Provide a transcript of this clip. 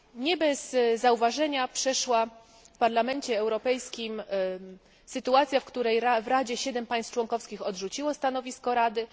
Nie bez zauważenia przeszła w Parlamencie Europejskim sytuacja, w której w Radzie 7 państw członkowskich odrzuciło stanowisko Rady.